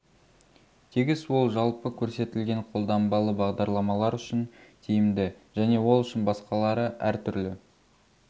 тегіс ол жалпы көрсетілген қолданбалы бағдарламалар үшін тиімді және ол үшін басқалары әр түрлі